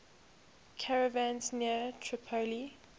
caravans near tripoli